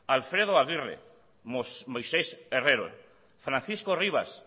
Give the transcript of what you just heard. alfredo aguirre moisés herrero francisco rivas